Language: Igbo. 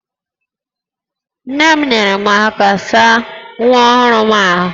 Nne m nyeere m aka saa nwa ọhụrụ m ahụ